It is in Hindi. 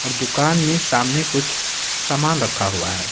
और दुकान में सामने कुछ सामान रखा हुआ है।